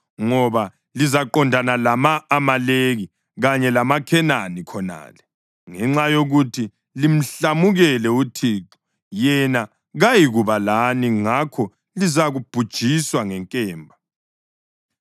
ngoba lizaqondana lama-Amaleki kanye lamaKhenani khonale. Ngenxa yokuthi limhlamukele uThixo, yena kayikuba lani ngakho lizabhujiswa ngenkemba.”